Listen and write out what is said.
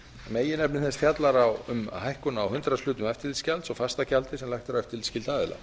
meginefni þess fjallar um hækkun á hundraðshluta eftirlitsgjalds og fastagjaldi sem lagt er á eftirlitsskylda aðila